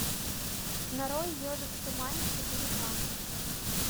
нарой ежик в тумане четыре ка